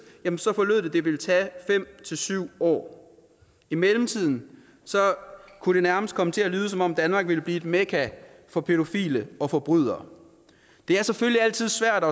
forlød det at det ville tage fem til syv år i mellemtiden kunne det nærmest komme til at lyde som om danmark ville blive et mekka for pædofile og forbrydere det er selvfølgelig altid svært at